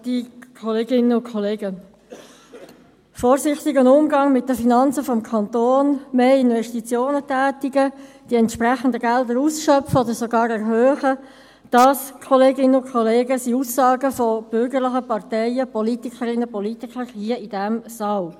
«Ein vorsichtiger Umgang mit den Finanzen des Kantons», «mehr Investitionen tätigen», «die entsprechenden Gelder ausschöpfen oder sogar erhöhen» – das, Kolleginnen und Kollegen, sind Aussagen von bürgerlichen Parteien, Politikerinnen und Politikern hier in diesem Saal.